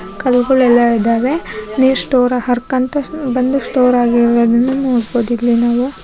ಕಲ್ಗುಳೆಲ್ಲ ಇದಾವೆ ನೀರ್ ಸ್ಟೋರ್ ಹರ್ಕಂತ ಬಂದು ಸ್ಟೋರ್ ಆಗಿರೋದನ್ನ ನೋಡಬಹುದು ಇಲ್ಲಿ ನಾವು --